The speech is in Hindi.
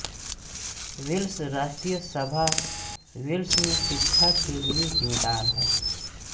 वेल्स राष्ट्रीय सभा वेल्स में शिक्षा के लिए ज़िम्मेदार है